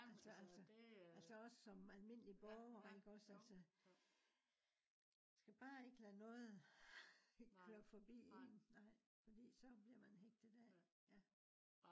altså altså også som almendelig broger ikke iggås altså. skal bare ikke lade noget køre forbi en nej fordi så bliver man hægtet af ja